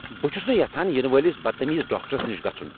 بہٕ چھس نہٕ یژھان یینہٕ وٲلس بدتمیز ڈاکٹرس نش گژھن۔